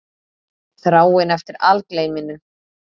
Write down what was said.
Þráin eftir algleyminu.